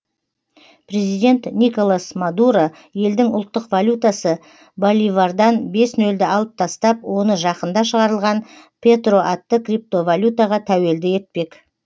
президент николас мадуро елдің ұлттық валютасы боливардан бес нөлді алып тастап оны жақында шығарылған петро атты криптовалютаға тәуелді етпек